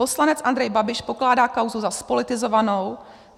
Poslanec Andrej Babiš pokládá kauzu za zpolitizovanou.